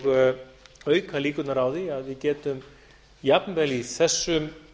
og auka líkurnar á því að við getum jafnvel í þessum